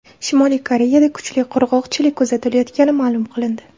Shimoliy Koreyada kuchli qurg‘oqchilik kuzatilayotgani ma’lum qilindi.